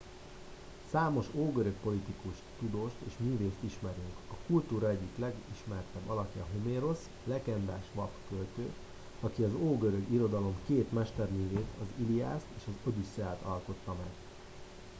számos ógörög politikust tudóst és művészt ismerünk a kultúra egyik legismertebb alakja homérosz a legendás vak költő aki az ógörög irodalom két mesterművét az iliászt és az odüsszeiát alkotta meg